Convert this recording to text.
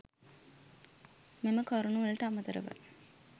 මෙම කරුණු වලට අමතරව